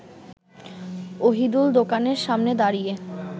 অহিদুল দোকানের সামনে দাঁড়িয়ে